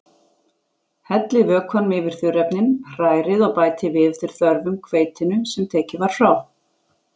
Hellið vökvanum yfir þurrefnin, hrærið og bætið við eftir þörfum hveitinu sem tekið var frá.